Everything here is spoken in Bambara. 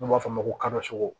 N'u b'a f'a ma ko